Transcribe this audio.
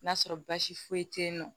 N'a sɔrɔ baasi foyi te yen nɔ